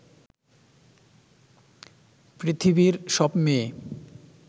পৃথিবীর সব মেয়ে